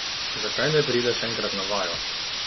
Zakaj ne prideš enkrat na vajo?